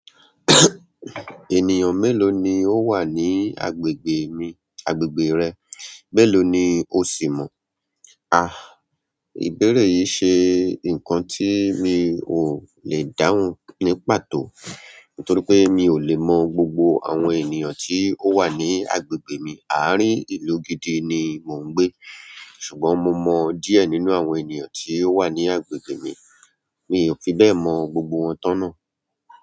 Ènìyàn melo ni o wa ni agbègbè mi agbègbè re, melo ni o si mo a a, ìbéèrè yìí ṣe nǹkan tí mi ò lè dáhùn ní pàtó, nítorí pé mi ò lè mọ gbogbo àwọn ènìyàn tí ó wà ní agbègbè mi. Àárín ìlú gidi ni mò ń gbé, ṣùgbọ́n mo mọ díẹ̀ nínú àwọn ènìyàn tí ó wà ní agbègbè mi, mi ò fi bẹ́ẹ̀ mọ gbògbò wọn tán náà.